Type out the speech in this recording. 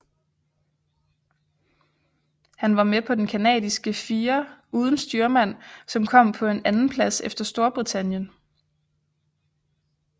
Han var med på den canadiske fire uden styrmand som kom på en andenplads efter Storbritannien